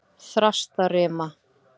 Þrastarima